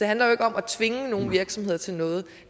handler ikke om at tvinge nogen virksomheder til noget